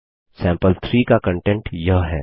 सैंपल3 का कंटेंट यह है